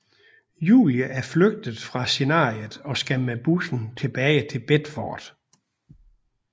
Julie er flygtet fra scenariet og skal med bussen tilbage til Bedford